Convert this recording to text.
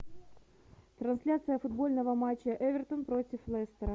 трансляция футбольного матча эвертон против лестера